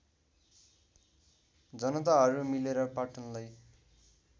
जनताहरू मिलेर पाटनलाई